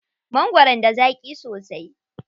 Mangwaron da zaƙi sosai.